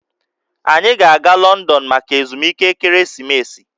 Anyị ga-aga Lọndọn maka ezumike ekeresimesi